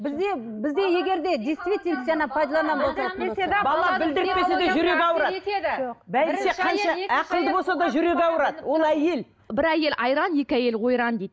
ол әйел бір әйел айран екі әйел ойран дейді